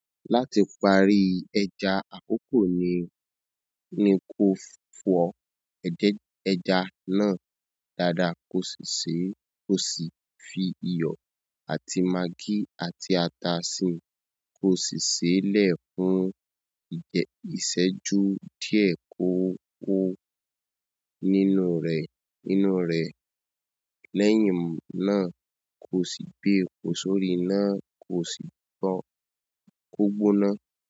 Láti parí ẹja, àkókò ni, ni kó o fọ edẹ́, ẹja náà dáadáa, ko sì sèé, ko sì fi iyọ̀ àti magí àti ata síi, ko sì sèé lẹ̀ fún ìsẹ́jú díẹ̀ kó kó nínú rẹ̀, nínú rẹ̀. Lẹ́yìn náà, ko sì gbé epo sórí iná, ko sì gba kó gbóná.